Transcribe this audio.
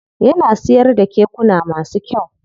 Yana siyar da kekuna masu kyau.